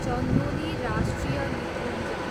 चन्दोली राष्ट्रिय निकुञ्ज